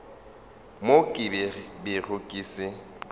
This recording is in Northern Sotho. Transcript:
mo ke bego ke se